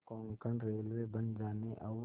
Konkan railway बन जाने और